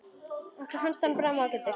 Okkur fannst hann báðum ágætur.